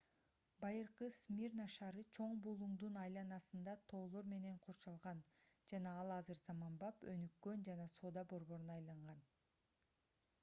байыркы смирна шаары чоң булуңдун айланасында тоолор менен курчалган жана ал азыр заманбап өнүккөн жана соода борборуна айланган